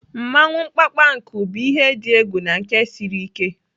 Mmawụ mkpamkpanku bụ ihe dị egwu na nke siri ike.